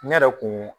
Ne yɛrɛ kun